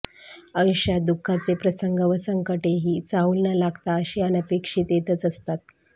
आयुष्यात दुःखाचे प्रसंग व संकटेही चाहूल न लागता अशी अनपेक्षित येतच असतात